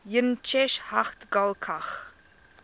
yn cheshaght ghailckagh